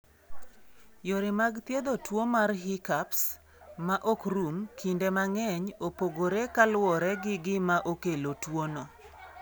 Yore mag thiedho tuwo mar hiccups ma ok rum, kinde mang'eny opogore kaluwore gi gima okelo tuwono.